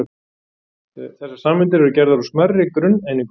Þessar sameindir eru gerðar úr smærri grunneiningum.